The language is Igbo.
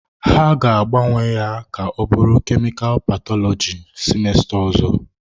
Ha ga-agbanwe ya ka ọ bụrụ kemikal pathology semester ọzọ.